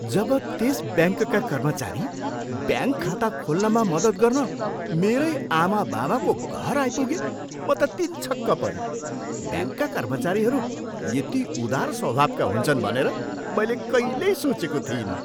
जब त्यस ब्याङ्कका कर्मचारी ब्याङ्क खाता खोल्नमा मद्दत गर्न मेरै आमाबाबाको घर आइपुगे म त तिनछक्क परेँ। ब्याङ्कका कर्मचारीहरू यति उदार स्वभावका हुन्छन् भनेर मैले कहिल्यै सोचेको थिइनँ।